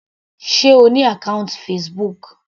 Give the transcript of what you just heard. Sé O ní àkọ́ùntì Facebook.